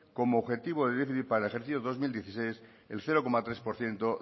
como objetivo del déficit para el ejercicio dos mil dieciséis el cero coma tres por ciento